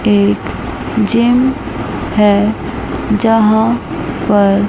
एक जिम है यहां पर--